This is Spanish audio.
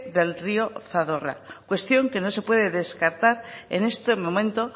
del río zadorra cuestión que no se puede descartar en este momento